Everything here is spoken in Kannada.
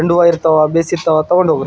ಚಂಡ್ ಹೂವ ಇರ್ತಾವ ಬೇಸಿತ್ತಾವ ತಕೊಂಡ್ ಹೋಗ್ರೀ.